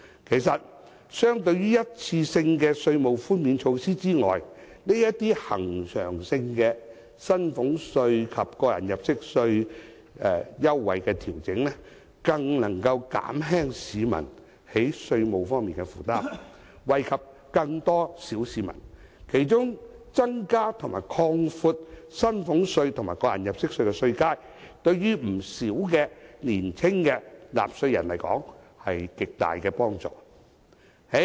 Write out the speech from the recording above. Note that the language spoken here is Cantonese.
其實，相對於一次性的稅務寬免措施，這些恆常性的薪俸稅及個人入息課稅優惠調整更能減輕市民在稅務方面的負擔，惠及更多小市民，其中增加及擴闊薪俸稅及個人入息課稅的稅階，對於不少年輕的納稅人來說有極大的幫助。